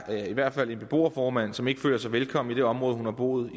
i hvert fald er en beboerformand som ikke føler sig velkommen i det område hun har boet